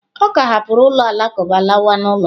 Ọ ka hapụrụ ụlọ alakụba lawa n'ụlọ.